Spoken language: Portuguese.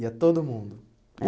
Ia todo mundo? É